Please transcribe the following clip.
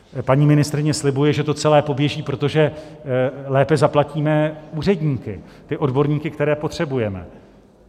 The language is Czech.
Paní ministryně slibuje, že to celé poběží, protože lépe zaplatíme úředníky, ty odborníky, které potřebujeme.